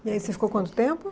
E aí você ficou quanto tempo?